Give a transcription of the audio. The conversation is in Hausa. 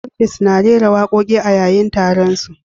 Curtis na rera wakoki a yayin taron su.